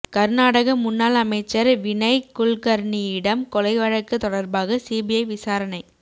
கர்நாடக முன்னாள் அமைச்சர் வினய் குல்கர்னியிடம் கொலை வழக்கு தொடர்பாக சிபிஐ விசாரணை